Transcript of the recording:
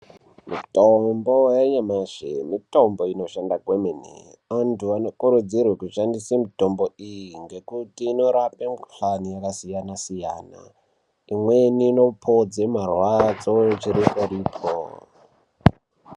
Mitombo yanyamashi mitombo inoshanda kwemene. Antu anokurudzirwe kushandisa mitombo iyi ngekuti inorape mikuhlani yakasiyana siyana, imweni inopodze marwadzo chiriporipo.